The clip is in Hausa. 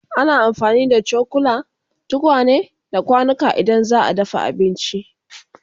Ana amfani da cokula, tukwane, da kwanuka idan za'a dafa abinci